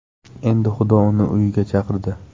Endi xudo uni uyiga chaqirdi.